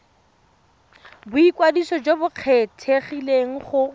boikwadiso jo bo kgethegileng go